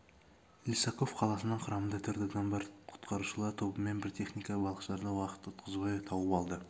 лисаков қаласынан құрамында төрт адам бар құтқарушылар тобы мен бір техника балықшыларды уақыт ұтқызбай тауып алады